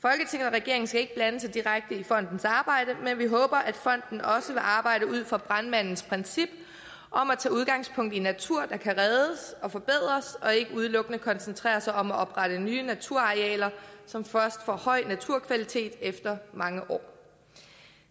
regeringen skal ikke blande sig direkte i fondens arbejde men vi håber at fonden også vil arbejde ud fra brandmandens princip om at tage udgangspunkt i natur der kan reddes og forbedres og ikke udelukkende koncentrere sig om at oprette nye naturarealer som først får høj naturkvalitet efter mange år